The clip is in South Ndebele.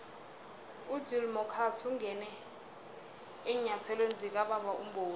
ugill marcus ungene eenyathelweni zikababa umboweni